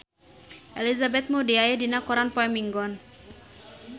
Elizabeth Moody aya dina koran poe Minggon